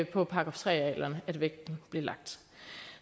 på § tre arealerne vægten blev lagt